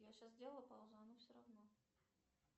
я сейчас сделала паузу а оно все равно